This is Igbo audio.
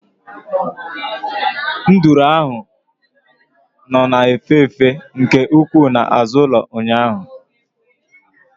Nduru ahụ nọ na-efe efe nke ukwuu n'azụ ụlọ ụnyahụ.